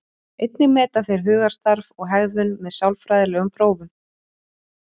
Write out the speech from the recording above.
Einnig meta þeir hugarstarf og hegðun með sálfræðilegum prófum.